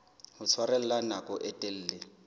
ho tshwarella nako e telele